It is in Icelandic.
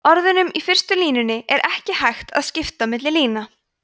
orðunum í fyrstu línunni er ekki hægt að skipta milli lína